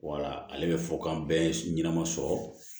Wala ale bɛ fo kan bɛɛ ye ɲɛnama sɔrɔ